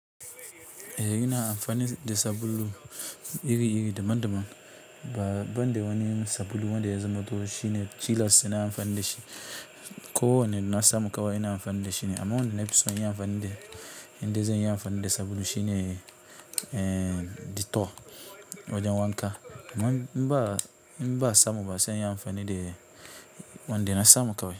Eh, yana amfani da sabulu iri-iri daban-daban. Ba ban da wani sabulu wanda ya zama toh shine tilas sai na amfani da shi. Ko wane na samu kawai ina amfani da shi ne amma wanda na fi so in yi amfani da, indai zanyi amfani da sabulu shine, eh, Dettol. Wajen wanna, amma in ba in ba'a samu ba, sai in yi amfani da wanda na samu kawai.